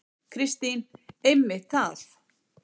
Kristín: Einmitt það.